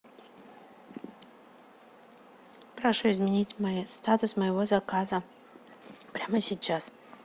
прошу изменить статус моего заказа прямо сейчас